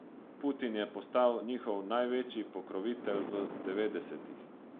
Putin je postal njihov največji pokrovitelj v devetdesetih.